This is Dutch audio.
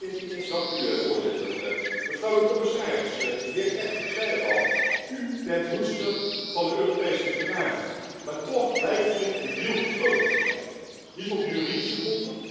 Mevrouw de commissaris, de heer Ertug zei het al, u bent hoedster van de Europese verdragen maar toch lijkt hier een deal gesloten te zijn, niet op juridische gronden, maar op politieke gronden.